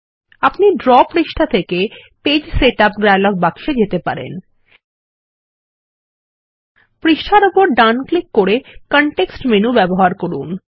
আপনি ড্র পৃষ্ঠা থেকে পৃষ্ঠা সেটআপ ডায়ালগ বাক্সে যেতে পারেন পৃষ্ঠার ওপর ডান ক্লিক করে কনটেক্সট মেনু ব্যবহার করুন